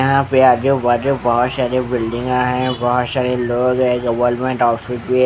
यहाँ पे आजू बाजू बहुत सारे बिल्डिंगा है बहुत सारे लोंग है गवर्नमेंट ऑफिस भी है ।